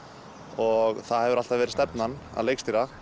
og það hefur alltaf verið stefnan að leikstýra